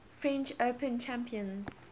french open champions